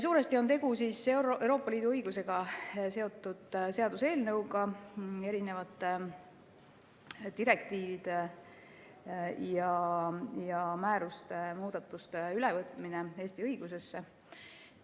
Suuresti on tegu Euroopa Liidu õigusega seotud seaduseelnõuga, eri direktiivide ja määruste muudatuste ülevõtmisega Eesti õigusesse.